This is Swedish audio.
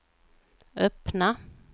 öppna